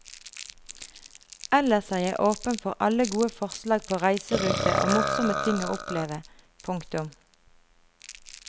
Ellers er jeg åpen for alle gode forslag på reiserute og morsomme ting å oppleve. punktum